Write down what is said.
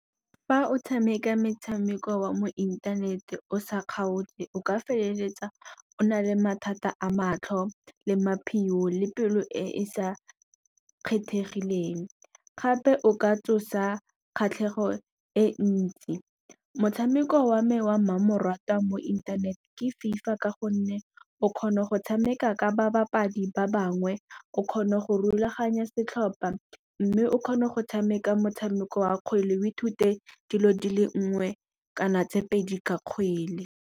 Fa o tshameka metshameko wa mo inthanete o sa kgaotse, o ka feleletsa o na le mathata a matlho le maphio le pelo e e sa kgethegileng. Gape o ka tsosa kgatlhego e ntsi, motshameko wa me wa mmamoratwa mo inthanete ke FIFA ka gonne o kgona go tshameka ka babadi ba bangwe o kgona go rulaganya setlhopha. Mme o kgona go tshameka motshameko wa kgwele o i thute dilo dile nngwe kana tse pedi ka kgwele.